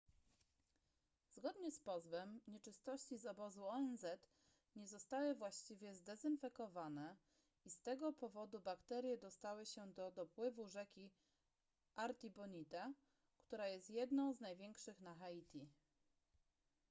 zgodnie z pozwem nieczystości z obozu onz nie zostały właściwie zdezynfekowane i z tego powodu bakterie dostały się do dopływu rzeki artibonite która jest jedną z największych na haiti